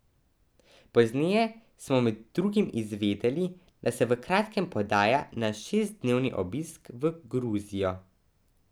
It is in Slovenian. Pozneje smo med drugim izvedeli, da se v kratkem podaja na šestdnevni obisk v Gruzijo.